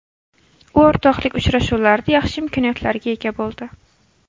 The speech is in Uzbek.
U o‘rtoqlik uchrashuvlarida yaxshi imkoniyatlarga ega bo‘ldi.